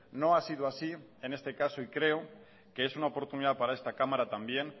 no ha sido así en este caso y creo que es una oportunidad para esta cámara también